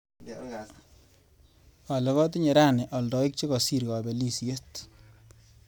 Olly, katinye rani aldaek che kasir kabelishiet.